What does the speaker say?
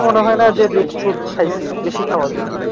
মনে হয় না যে বেশি rich food খাইছি।